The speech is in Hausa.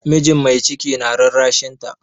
Mijin mai ciki na rarrashinta.